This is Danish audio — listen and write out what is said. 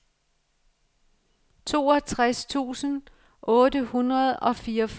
toogtres tusind otte hundrede og fireogfyrre